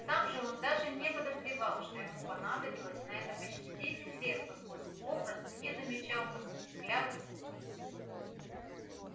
сам же он даже не подозревал что ему понадобилось на это почти десять лет поскольку попросту не замечал косых взглядов соседей